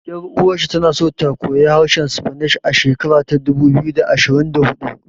Ƴar uwar shi tana so ta koya harshen Spanish a shekara ta dubu biyu da ashirin da huɗu